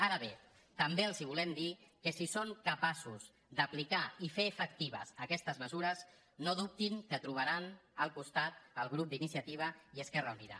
ara bé també els volem dir que si són capaços d’apli·car i fer efectives aquestes mesures no dubtin que tro·baran al costat el grup d’iniciativa i esquerra unida